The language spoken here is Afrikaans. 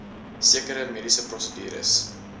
sekere mediese prosedures